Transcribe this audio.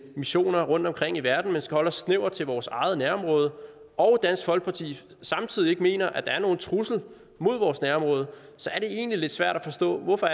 missioner rundtomkring i verden men skal holde os snævert til vores eget nærområde og dansk folkeparti samtidig ikke mener at der er nogen trussel mod vores nærområde så er det egentlig lidt svært at forstå hvorfor